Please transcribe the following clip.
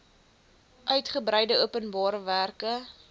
uitgebreide openbare werke